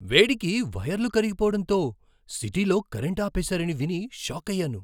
వేడికి వైర్లు కరిగిపోవడంతో సిటీలో కరెంటు ఆపేసారని విని షాకయ్యాను!